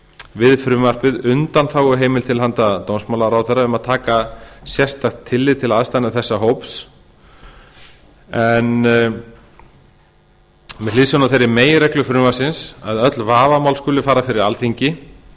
við frumvarpið undanþáguheimild til handa dómsmálaráðherra um að taka sérstakt tillit til aðstæðna þessa hóps en með hliðsjón af þeirri meginreglu frumvarpsins að öll vafamál skulu fara fyrir alþingi